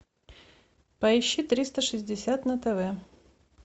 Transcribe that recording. поищи триста шестьдесят на тв